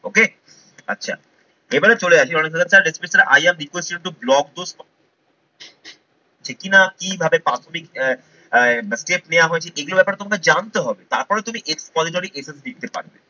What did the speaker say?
okay আচ্ছা এবারে চলে আসি অনেক জাইগাতে description এ I am request you to block those যে কিনা কিভাবে public আহ step নেওয়া হয়েছে এগুলোর ব্যাপারে তোমরা জানতে হবে তারপরে তুমি expository essay লিখতে পারবে।